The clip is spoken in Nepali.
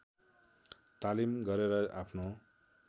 तालिम गरेर आफ्नो